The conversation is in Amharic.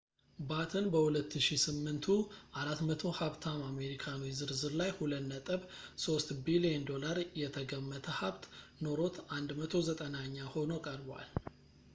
ባትን በ2008ቱ 400 ሀብታም አሜሪካኖች ዝርዝር ላይ $2.3 ቢልየን የተገመተ ሀብት ኖሮት 190ኛ ሆኖ ቀርቧል